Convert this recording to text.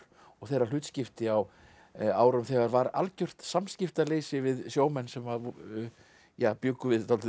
og þeirra hlutskipti á árum þegar var algjört samskiptaleysi við sjómenn sem bjuggu við dálítið